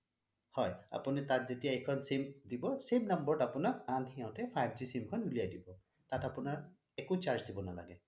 আপুনি যেতিয়া তাত এইখন sim দিব same number ত আপোনাক সিহঁতে five G sim খন উলিয়াই দিব তাত আপোনাৰ একো charge দিব নালাগে